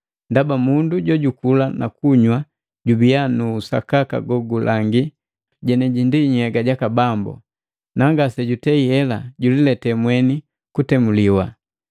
ndaba mundu jojukula nakunywa jubiya nu usakaka gogulangi jeneji nhyega jaka Bambu, nangase jutei hela julilete mweni kutemuliwa.